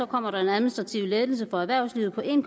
kommer der en administrativ lettelse for erhvervslivet på en